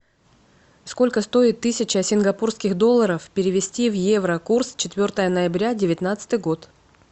сколько стоит тысяча сингапурских долларов перевести в евро курс четвертое ноября девятнадцатый год